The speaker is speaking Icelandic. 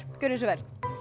gjörið svo vel